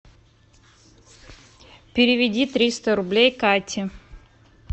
переведи триста рублей кате